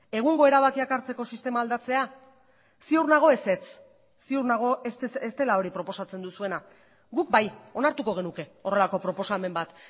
egungo erabakiak hartzeko sistema aldatzea ziur nago ezetz ziur nago ez dela hori proposatzen duzuena guk bai onartuko genuke horrelako proposamen bat